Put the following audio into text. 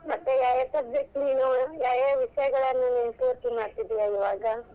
ಮತ್ತೆ ಯಾ ಯಾ subject ನೀನು, ಯಾ ಯಾ ವಿಷಯಗಳನ್ನ ಪೂರ್ತಿ ಮಾಡ್ತಿದಿಯಾ ಇವಾಗ?